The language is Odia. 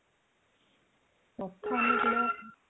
ସପ୍ତ ଅନୁକୂଳ